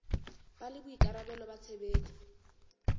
ba le boikarabelo ba tshebetso